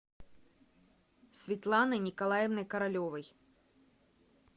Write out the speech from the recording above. светланой николаевной королевой